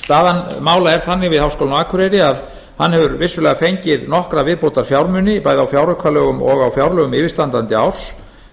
staða mála er þannig við háskólann á akureyri að hann hefur vissulega fengið nokkra viðbótarfjármuni bæði á fjáraukalögum og á fjárlögum yfirstandandi árs